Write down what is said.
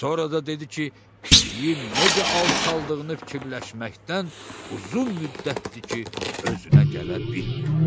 Sonra da dedi ki, pişiyin necə alçaltdığını fikirləşməkdən uzun müddətdir ki, özünə gələ bilmir.